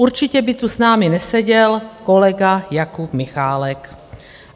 Určitě by tu s námi neseděl kolega Jakub Michálek.